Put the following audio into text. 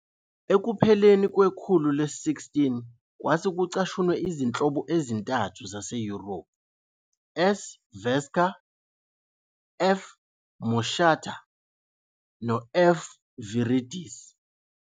Ekupheleni kwekhulu le-16 kwase kucashunwe izinhlobo ezintathu zaseYurophu- "F. vesca", "F. moschata", no- "F". viridis.